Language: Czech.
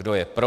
Kdo je pro?